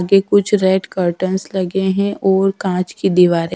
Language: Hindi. के कुछ रेड कर्टेन्स लगे हैं और कांच की दीवारें--